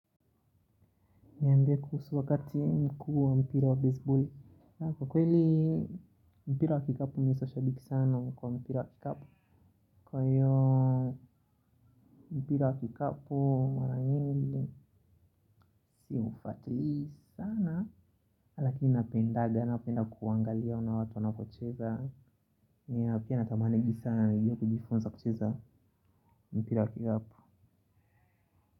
Niambie kuhusu wakati mkuu wa mpira wa baseball. Kwa kweli mpira wa kikapu mimi siyo shabiki sana kwa mpira wa kikapu. Kwa hiyo mpira wa kikapu mara nyingi siufuatilii sana. Lakini napenda kuangalia ona watu wanavyocheza. Mimi pia natamani juu sana nijue kujifunza kucheza mpira wa kikapu.